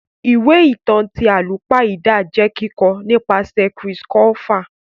Ìwé ìtàn ti àlùpàídà jẹ kikọ nìpasẹ̀ Chris Colfer.